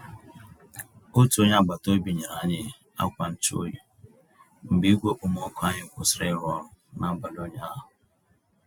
Otú onyé agbata obi nyere anyị akwa nchụ-oyi mgbe igwe okpomọkụ anyị kwụsịrị ịrụ ọrụ n'abalị ụnyaahụ.